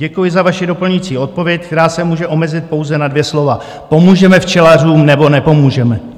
Děkuji za vaši doplňující odpověď, která se může omezit pouze na dvě slova: Pomůžeme včelařům, nebo nepomůžeme.